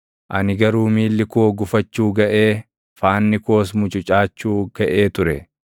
Ani garuu miilli koo gufachuu gaʼee, faanni koos mucucaachuu gaʼee ture.